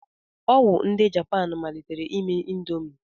Ọ wụ ndị Japan malitere ime ịndomii.